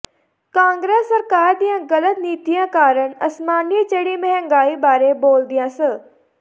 ਕਾਂਗਰਸ ਸਰਕਾਰ ਦੀਆਂ ਗਲਤ ਨੀਤੀਆਂ ਕਾਰਨ ਅਸਮਾਨੀ ਚੜੀ ਮਹਿੰਗਾਈ ਬਾਰੇ ਬੋਲਦਿਆਂ ਸ